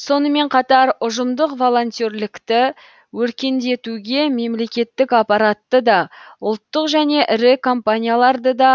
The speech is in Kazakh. сонымен қатар ұжымдық волонтерлікті өркендетуге мемлекеттік аппаратты да ұлттық және ірі компанияларды да